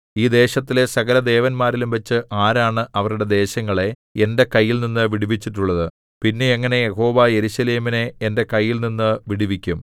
ഈ ദേശങ്ങളിലെ സകലദേവന്മാരിലും വച്ച് ആരാണ് അവരുടെ ദേശങ്ങളെ എന്റെ കൈയിൽനിന്നു വിടുവിച്ചിട്ടുള്ളത് പിന്നെ എങ്ങനെ യഹോവ യെരൂശലേമിനെ എന്റെ കൈയിൽനിന്നു വിടുവിക്കും